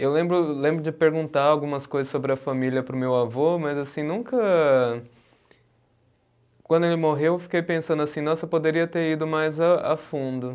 Eu lembro, lembro de perguntar algumas coisas sobre a família para o meu avô, mas assim, nunca, quando ele morreu, eu fiquei pensando assim, nossa, eu poderia ter ido mais a a fundo.